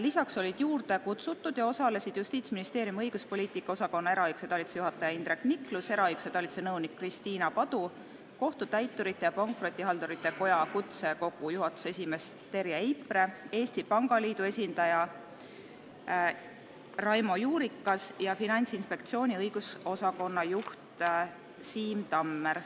Lisaks olid kutsutud ja osalesid Justiitsministeeriumi õiguspoliitika osakonna eraõiguse talituse juhataja Indrek Niklus, eraõiguse talituse nõunik Kristiina Padu, Kohtutäiturite ja Pankrotihaldurite Koja kutsekogu juhatuse esimees Terje Eipre, Eesti Pangaliidu esindaja Raimo Juurikas ja Finantsinspektsiooni õigusosakonna juht Siim Tammer.